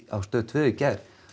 á Stöð tvö í gær